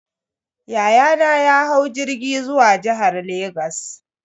Yayana ya hau jirgi zuwa jihar Legas.